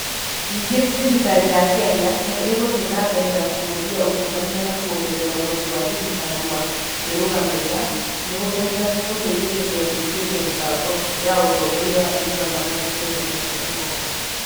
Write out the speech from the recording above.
Ningĩ, thirikari ya Kenya nĩ ĩgũthiĩ na mbere na kũhũthia ungumania na kwongerera ũhoti wa thirikari wa kwĩrũgamĩrĩra nĩ gũgũteithĩrĩria kũingĩria mĩbango ya ũtongoria wa e-Governance Kenya mĩaka ĩgoka.